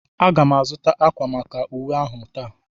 Aga m azụta ákwà maka uwe ahụ taa.